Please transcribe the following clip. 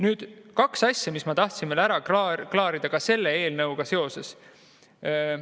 Veel kaks asja, mis ma tahtsin ära klaarida selle eelnõuga seoses.